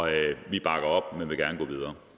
vi bakker op men vil gerne